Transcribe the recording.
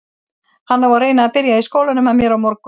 Hann á að reyna að byrja í skólanum með mér á morgun.